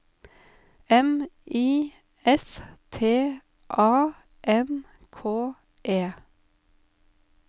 M I S T A N K E